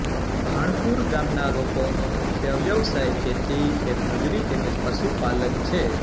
ભાણપુર ગામના લોકોનો મુખ્ય વ્યવસાય ખેતી ખેતમજૂરી તેમ જ પશુપાલન છે